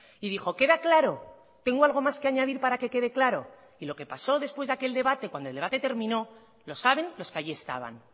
y dijo queda claro tengo algo más que añadir para que quede claro y lo que pasó después de aquel debate cuando el debate terminó lo saben los que allí estaban